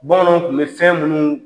Bamananw tun bɛ fɛn minnu